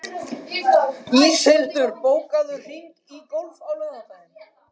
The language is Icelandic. Íshildur, bókaðu hring í golf á laugardaginn.